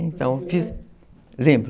Então, fiz... Lembro.